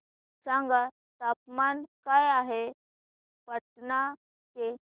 सांगा तापमान काय आहे पाटणा चे